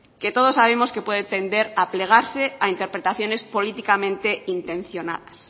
que todos sabemos que pueden atender a plegarse a interpretaciones políticamente intencionadas